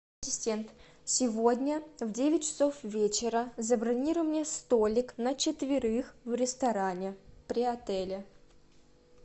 ассистент сегодня в девять часов вечера забронируй мне столик на четверых в ресторане при отеле